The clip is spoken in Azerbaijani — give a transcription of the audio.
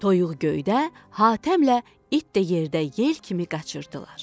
Toyuq göydə, Hatəmlə it də yerdə yel kimi qaçırdılar.